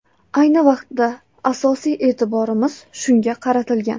Ayni vaqtda asosiy e’tiborimiz shunga qaratilgan.